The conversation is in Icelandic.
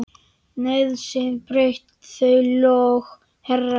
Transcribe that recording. Nauðsyn braut þau lög, herra.